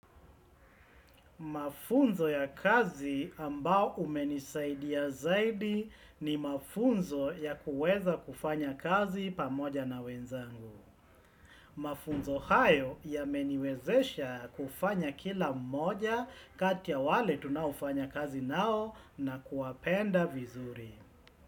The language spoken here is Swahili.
Mafunzo ya kazi ambao umenisaidia zaidi ni mafunzo ya kuweza kufanya kazi pamoja na wenzangu. Mafunzo hayo yameniwezesha kufanya kila mmoja kati ya wale tunaofanya kazi nao na kuwapenda vizuri.